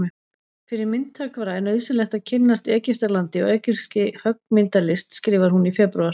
Fyrir myndhöggvara er nauðsynlegt að kynnast Egyptalandi og egypskri höggmyndalist skrifar hún í febrúar.